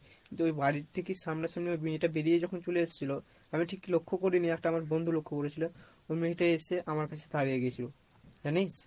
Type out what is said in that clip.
আর কি তো ওই বাড়ির থেকে সামনা সামনি ওই মেয়েটা বেড়িয়ে যখন চলে আসছিলো আমি ঠিক লক্ষ্য করিনি একটা আমার বন্ধু লক্ষ্য করেছিলো ওই মেয়েটা এসে আমার কাছে দাড়িয়ে গেছিলো, জানিস?